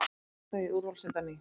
Grótta í úrvalsdeild á ný